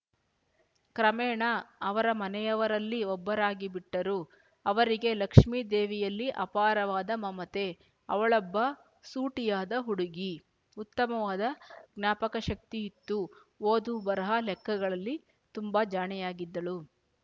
ಕ್ರಮೇಣ ಅವರ ಮನೆಯವರಲ್ಲಿ ಒಬ್ಬರಾಗಿಬಿಟ್ಟರು ಅವರಿಗೆ ಲಕ್ಷ್ಮಿದೇವಿಯಲ್ಲಿ ಅಪಾರವಾದ ಮಮತೆ ಅವಳೊಬ್ಬ ಸೂಟಿಯಾದ ಹುಡುಗಿ ಉತ್ತಮವಾದ ಜ್ಞಾಪಕಶಕ್ತಿಯಿತ್ತು ಓದು ಬರಹ ಲೆಕ್ಕಗಳಲ್ಲಿ ತುಂಬ ಜಾಣೆಯಾಗಿದ್ದಳು